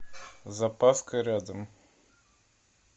запаска рядом